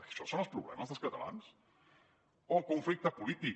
això són els problemes dels catalans o conflicte polític